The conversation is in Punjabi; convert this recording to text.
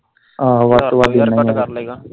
ਹਜ਼ਾਰ ਦੋ ਹਜ਼ਾਰ ਘੱਟ ਕਰਲੇਗਾ ਹਨਾਂ।